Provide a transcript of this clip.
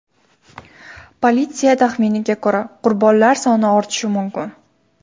Politsiya taxminiga ko‘ra, qurbonlar soni ortishi mumkin.